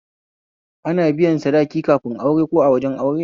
Ana biyan sadaki kafin aure ko a wajen aure